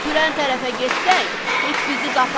İtürən tərəfə getsək, it bizi qapar.